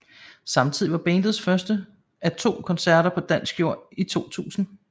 Samtidig var det bandets første af to koncerter på dansk jord i 2000